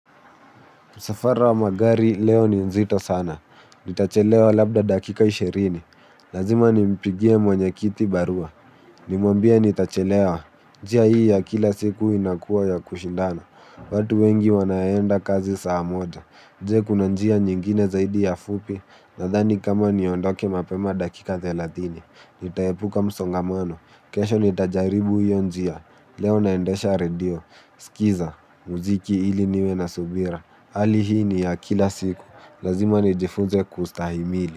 Msafara wa magari leo ni nzito sana, nitachelewa labda dakika ishirini, lazima nimpigie mwenye kiti barua, nimwambie nitachelewa, njia hii ya kila siku inakuwa ya kushindana, watu wengi wanaenda kazi saa moja, je, kuna njia nyingine zaidi ya fupi, nadhani kama niondoke mapema dakika thelathini, nitaepuka msongamano, kesho nitajaribu hiyo njia, leo naendesha redio, skiza muziki ili niwe na subira, hali hii ni ya kila siku, lazima nijifunze kustahimili.